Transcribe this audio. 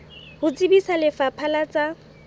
ho tsebisa lefapha la tsa